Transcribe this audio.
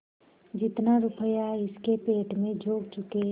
जितना रुपया इसके पेट में झोंक चुके